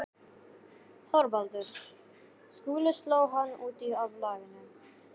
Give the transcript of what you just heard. ÞORVALDUR: Skúli sló hann út af laginu.